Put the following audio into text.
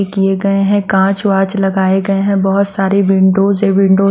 किए गए हैं कांच वाँच लगाए गए हैं बहुत सारी विंडोज़ है विंडो --